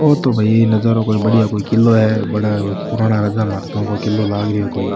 ओ तो भाई नजारो कोई बढ़िया किलो है बड़ा पुराना राजा महाराजा को किलो लाग रो है कोई।